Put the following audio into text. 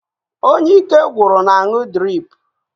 Onye ike gwụrụ na-aṅụ driipu.